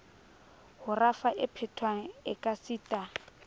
ho rafa e phethwang ekasita